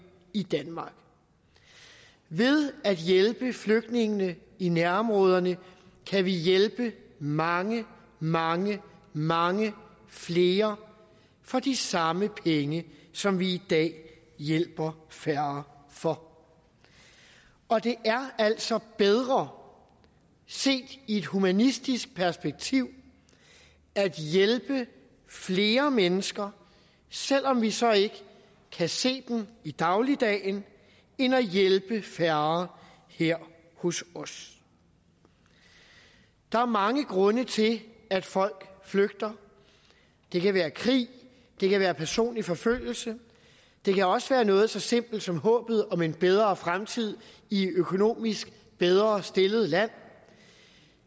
i danmark ved at hjælpe flygtningene i nærområderne kan vi hjælpe mange mange mange flere for de samme penge som vi i dag hjælper færre for og det er altså bedre set i et humanistisk perspektiv at hjælpe flere mennesker selv om vi så ikke kan se dem i dagligdagen end at hjælpe færre her hos os der er mange grunde til at folk flygter det kan være krig det kan være personlig forfølgelse det kan også være noget så simpelt som håbet om en bedre fremtid i et økonomisk bedre stillet land